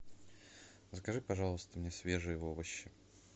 закажи пожалуйста мне свежие овощи